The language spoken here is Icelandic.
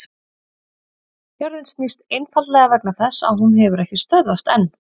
jörðin snýst einfaldlega vegna þess að hún hefur ekki stöðvast enn!